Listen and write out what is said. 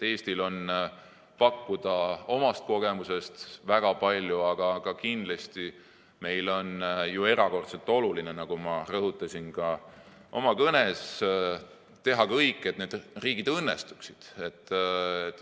Eestil on pakkuda omast kogemusest väga palju, aga kindlasti on erakordselt oluline, nagu ma rõhutasin oma kõnes, teha kõik, et need riigid õnnestuksid.